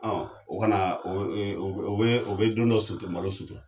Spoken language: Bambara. Ɔ o kana o bɛ don dɔ malo sutara